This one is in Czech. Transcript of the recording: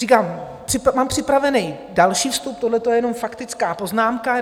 Říkám, mám připravený další vstup, tohle je jenom faktická poznámka.